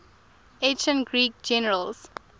ancient greek generals